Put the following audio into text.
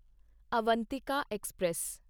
Avantika express